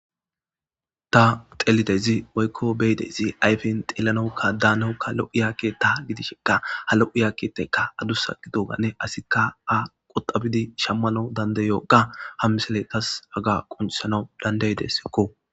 ta xelidezi woykko beyidezi ayfen xeelanawukka daanawukka lo'iya keta gidishenkka ha lo'iya ketaykka adussa gidogane asikka a qoxabidi shammanawu dandayoga hammiseley tas haga qunsanawu dandaydesekko